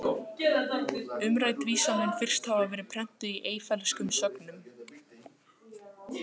Umrædd vísa mun fyrst hafa verið prentuð í Eyfellskum sögnum